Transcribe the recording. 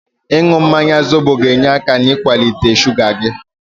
Ịnụ mmanya zobo ga-enye aka n'iwelata shuga gị.